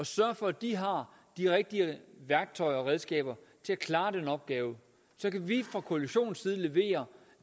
sørge for at de har de rigtige værktøjer og redskaber til at klare den opgave så kan vi fra koalitionens side levere